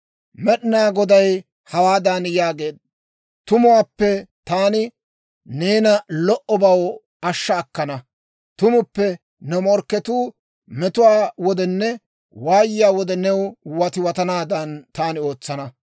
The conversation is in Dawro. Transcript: Med'inaa Goday hawaadan yaageedda; «Tumuppe taani neena lo"obaw ashsha akkana. Tumuppe ne morkketuu metuwaa wodenne waayiyaa wode new watiwatanaadan, taani ootsana.